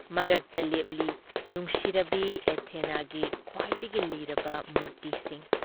ꯃꯔꯛꯇ ꯂꯦꯞꯂꯤ ꯅꯨꯡꯁꯤꯔꯕꯤ ꯑꯦꯊꯦꯅꯥꯒꯤ ꯈ꯭ꯋꯥꯏꯗꯒꯤ ꯂꯤꯔꯕ ꯃꯨꯔꯇꯤꯁꯤꯡ ꯫